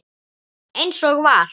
Eins og var.